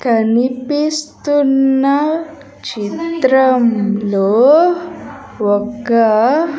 కనిపిస్తున్న చిత్రంలో ఒక --